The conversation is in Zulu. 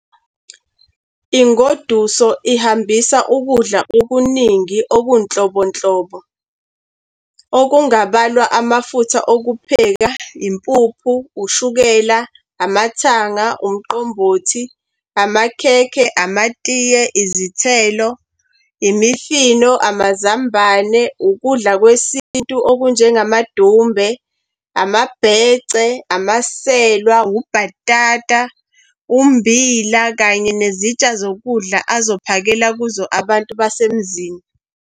Ingoduso ihambisa ukudla okuningi okunhlobonhlobo okungabalwa amafutha okupheka, impuphu, ushukela, amathanga, umqombothi, amakhekhe, amatiye, izithelo, imifino, amazambane, ukudla kwesintu okunjengamadumbe, amabhece, amaselwa, ubhatata, ummbila, kanye nezitsha zokudla azophakela kuzo abantu basemzini.